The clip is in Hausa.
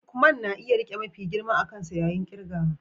Lukman na iya rike mafi girma a kansa yayin kirgawa